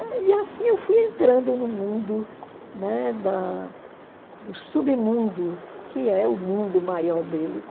E e assim eu fui entrando no mundo, né, da do submundo, que é o mundo maior deles.